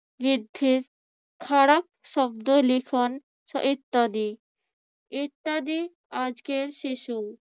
বৃদ্ধির খারাপ শব্দ লিখন ইত্যাদি। ইত্যাদি আজকের শিশু